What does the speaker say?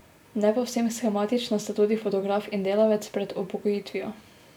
Ne povsem shematična sta tudi fotograf in delavec pred upokojitvijo.